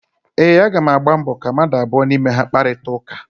ee, Aga m agbalị ka mmadụ abụọ n’ime ha kparịta ụka